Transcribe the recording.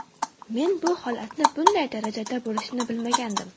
Men bu holatni bunday darajada bo‘lishini bilmagandim.